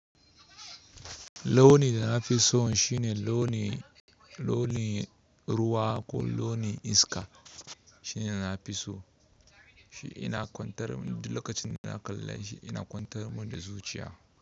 Launi da na fi so shine launin ruwa ko launi iska shine na fi so. Duk lokacin da na kalla shi ina kwantar mun da zuciya.